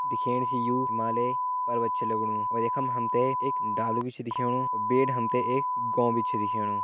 दिखेण सी यूं हिमालय पर्वत छ लगणु और यखम हमते एक डालू भी छ दिखेणु और बेड हमते एक गौं भी छ दिखेणु।